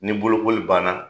Ni bolokoli banna